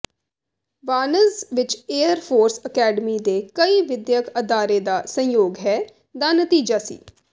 ਵਾਰਨ੍ਜ਼ ਵਿੱਚ air force academy ਦੇ ਕਈ ਵਿਦਿਅਕ ਅਦਾਰੇ ਦਾ ਸੰਯੋਗ ਹੈ ਦਾ ਨਤੀਜਾ ਸੀ